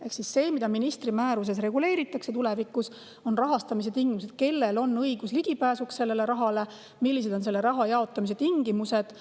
Ehk see, mida ministri määruses reguleeritakse tulevikus, on rahastamise tingimused: kellel on õigus sellele rahale ligi pääseda ja millised on selle raha jaotamise tingimused.